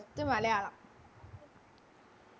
First Malayalam